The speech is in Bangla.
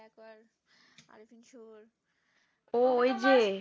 ও ওই যে